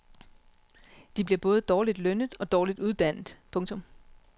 De bliver både dårligt lønnet og dårligt uddannet. punktum